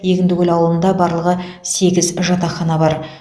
егіндікөл ауылында барлығы сегіз жатақхана бар